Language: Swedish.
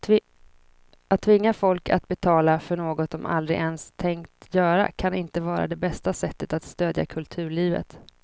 Att tvinga folk att betala för något de aldrig ens tänkt göra kan inte vara det bästa sättet att stödja kulturlivet.